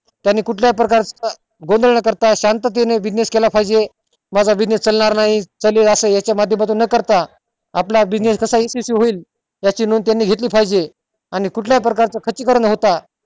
त्यांनी कुठल्या प्रकारचा गोंधळ न करता business केला पाहिजे माझा business चालणार नाही चालेल न करता आपला business कसा यशस्वी होईल याची नोंद त्यांनी घेतली पाहिजे आणि कुठल्या प्रकारच खर्ची करण न होता